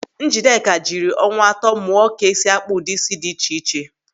Njideka jiri ọnwa atọ mụọ ka esi akpa ụdị ísí dị iche iche.